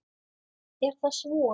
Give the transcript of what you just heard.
Er þess von?